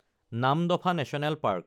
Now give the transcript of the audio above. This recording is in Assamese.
Namdapha national park